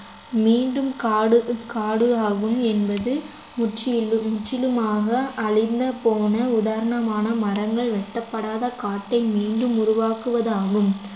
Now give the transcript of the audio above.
மீண்டும் காடு காடு ஆகும் என்பது முற்றிலும்~ முற்றிலுமாக அழிந்த போன உதாரணமான மரங்கள் வெட்டப்படாத காட்டை மீண்டும் உருவாக்குவது ஆகும்